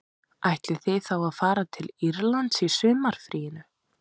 Ætlið þið þá að fara til Írlands í sumarfríinu